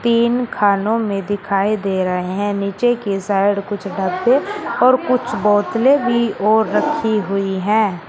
तीन खानो में दिखाई दे रहें नीचे की साइड कुछ डब्बे और कुछ बोतले भी और रखी हुई हैं।